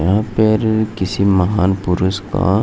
यहाँ पर किसी महान पुरूष का --